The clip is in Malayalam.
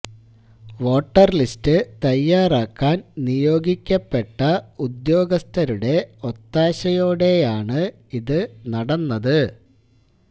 വോട്ടർ ലിസ്റ്റ് തയ്യാറാക്കാൻ നിയോഗിക്കപ്പെട്ട ഉദ്യോഗസ്ഥരുടെ ഒത്താശയോടെയാണ് ഇത് നടന്നത്